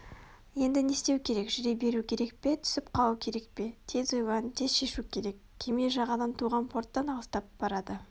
енді не істеу керек жүре беру керек пе түсіп қалу керек пе тез ойлан тез шешу керек кеме жағадан туған порттан алыстап барады